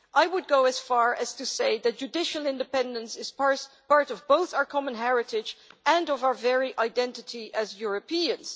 I would go as far as to say that judicial independence is part of both our common heritage and of our very identity as Europeans'.